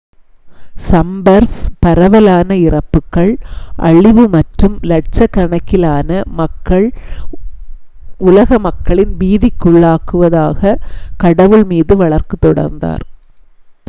"சம்பெர்ஸ் "பரவலான இறப்புகள் அழிவு மற்றும் லட்சக்கணக்கிலான உலக மக்களின் பீதிக்குள்ளாக்குவதாக" கடவுள் மீது வழக்கு தொடர்ந்தார்.